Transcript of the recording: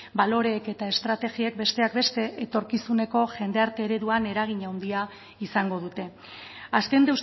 baloreek eta estrategiek besteak beste etorkizuneko jendarte ereduan eragin handia izango dute azken